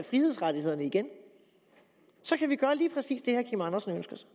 frihedsrettighederne igen så kan vi gøre lige præcis det herre kim andersen ønsker sig